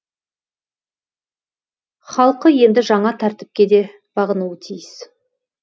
халқы енді жаңа тәртіпке де бағынуы тиіс